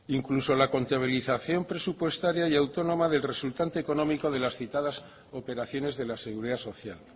incluso la contabilización presupuestaria y autónoma del resultante económico de las citadas operaciones de la seguridad social